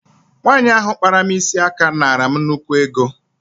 Nwaanyi ahụ kpara m isi aka naara m nnukwu ego.